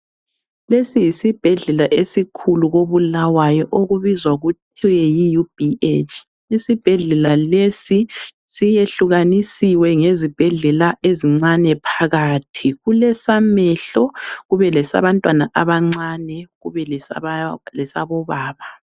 Lesi yisibhedlela esikhulu koBulawayo okubizwa kuthiwe yiUBH. Isibhedlela lesi siyehlukanisiwe ngezibhedlela ezincane phakathi, kulesamehlo, kube lesabantwana abancane kube lesabobaba.